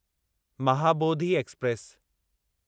Mahabodhi express